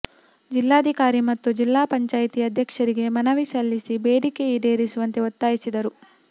ಜಿಲ್ಲಾಧಿಕಾರಿ ಮತ್ತು ಜಿಲ್ಲಾ ಪಂಚಾಯಿತಿ ಅಧ್ಯಕ್ಷರಿಗೆ ಮನವಿ ಸಲ್ಲಿಸಿ ಬೇಡಿಕೆ ಈಡೇರಿಸುವಂತೆ ಒತ್ತಾಯಿಸಿದರು